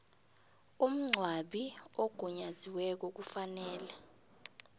umngcwabi ogunyaziweko kufanele